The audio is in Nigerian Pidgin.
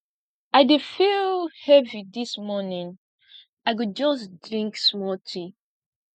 i dey feel heavy dis morning i go just drink small tea